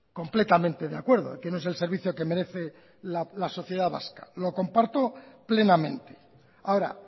completamente de acuerdo que no es el servicio que merece la sociedad vasco lo comparto plenamente ahora